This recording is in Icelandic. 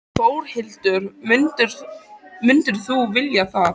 Þórhildur: Myndirðu vilja það?